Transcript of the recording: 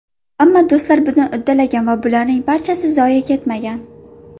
Ammo do‘stlar buni uddalagan va bularning barchasi zoye ketmagan.